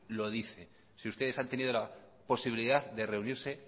lo dice si ustedes han tenido la posibilidad de reunirse